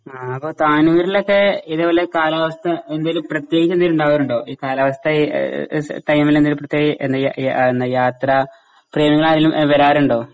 ആ അപ്പോ താനൂരിലത്തെ ഇത്പോലെ കാലാവസ്ഥ എന്തേലും പ്രത്യേകത ഇണ്ടാവാറുണ്ടോ? ഈ കാലാവസ്ഥ എ എഹ് എഹ് സ ടൈമിലെന്തേലും പ്രത്യേക എ എന്നയ യ എന്ന യാത്രാ പ്രേമികളാരേലും വ വരാറുണ്ടോ?